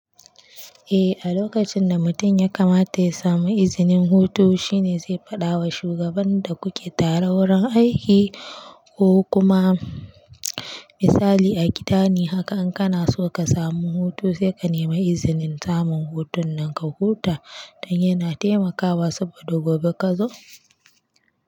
Eh, a lokacin da mutum ya kamata ya samu izinin hutu, shine zai faɗa wa shugaban da kuke tare wurin aiki ko kuma misali a gida ne haka in kana so ka samu hutu sai ka nemi izinin samun hutun nan ka huta don yana taimakawa saboda gobe ka zo.